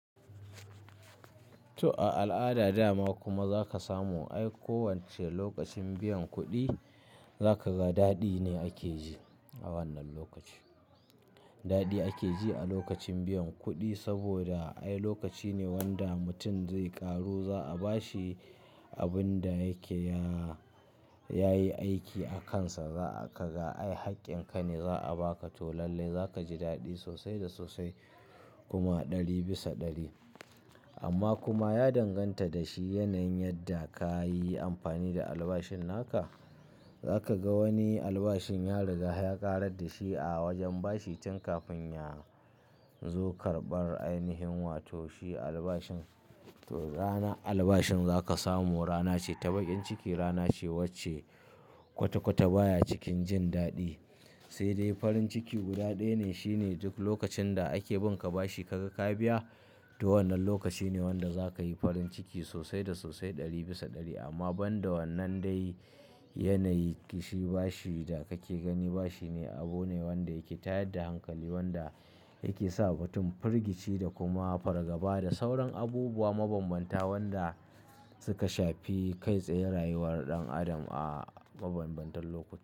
To a al'ada dama kuma za ka samu ai kowacce lokacin biyan kuɗi za ka ga daɗi ne ake ji a wannan lokaci. Daɗi ake ji a lokacin biyan kuɗi saboda ai lokaci ne wanda mutum zai ƙaru, za a bashi abin da yake ya, ya yi aiki a kansa. Za ka ga ai haƙƙin ka ne za a baka to lallai za ka ji daɗi sosai da sosai kuma ɗari bisa ɗari. Amma kuma ya danganta da shi yanayin yadda ka yi amfani da albashin naka. Za ka ga wani albashin ya riga ya ƙarar da shi a wajen bashi tin kafin ya zo karɓan ainihin wato shi albashin, to rana albashin za ka samu rana ce ta baƙin ciki, rana ce wacce kwata-kwata baya cikin jin daɗi. Sai dai farin ciki guda ɗaya ne shine duk lokacin da ake bin ka bashi ka ga ka biya to wannan lokaci ne wanda za ka yi farin ciki sosai da sosai ɗari bisa ɗari. Amma banda wannan dai yanayi kishi bashi da kake gani bashi ne abu ne wanda yake tayat da hankali wanda yake sa mutum firgici da kuma fargaba da sauran abubuwa mabanbanta wanda suka shafi kai tsaye rayuwar ɗan adam a mabanbantan lokuta.